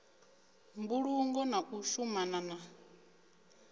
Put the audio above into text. mbulungo na u shumana na